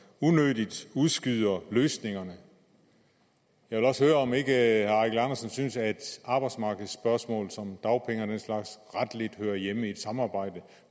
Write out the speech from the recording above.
unødigt udskyder løsningerne jeg vil også høre om ikke herre eigil andersen synes at arbejdsmarkedsspørgsmål som dagpenge og den slags retligt hører hjemme i et samarbejde